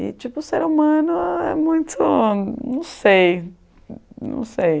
E tipo, ser humano é muito, não sei, não sei.